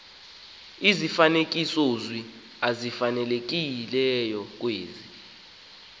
izifanekisozwi ezifanelekileyo kwezi